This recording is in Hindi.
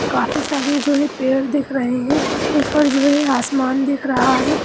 काफी सारे जो है पेड़ दिख रहे हैं ऊपर आसमान दिख रहा है।